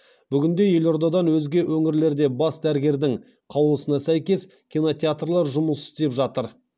бүгінде елордадан өзге өңірлерде бас дәрігердің қаулысына сәйкес кинотеатрлар жұмыс істеп жатыр